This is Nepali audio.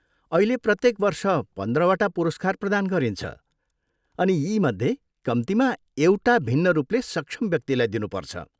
अहिले, प्रत्येक वर्ष पन्ध्रवटा पुरस्कार प्रदान गरिन्छ, अनि यीमध्ये कम्तीमा एउटा भिन्न रूपले सक्षम व्यक्तिलाई दिनुपर्छ।